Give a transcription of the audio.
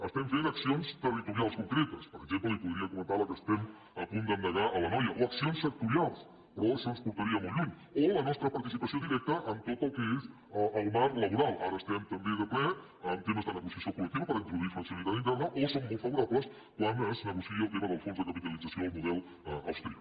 estem fent accions territorials concretes per exemple li podria comentar la que estem a punt d’endegar a l’anoia o accions sectorials però això ens portaria molt lluny o la nostra participació directa en tot el que és el marc laboral ara estem també de ple en temes de negociació col·lectiva per introduir flexibilitat interna o som molt favorables quan es negocia el tema del fons de capitalització el model austríac